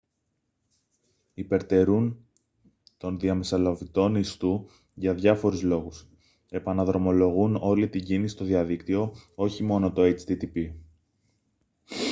υπερτερούν των διαμεσολαβητών ιστού για διάφορους λόγους επαναδρομολογούν όλη την κίνηση στο διαδίκτυο όχι μόνο το http